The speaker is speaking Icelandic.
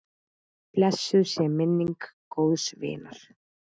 Blessuð sé minning góðs vinar.